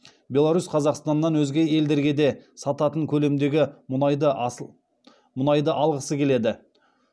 беларусь қазақстаннан өзге елдерге де сататын көлемдегі мұнайды алғысы келеді